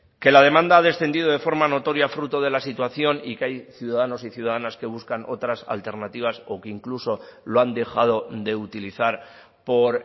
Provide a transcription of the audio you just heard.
que la demanda ha descendido de forma notoria fruto de la situación y que hay ciudadanos y ciudadanas que buscan otras alternativas o que incluso lo han dejado de utilizar por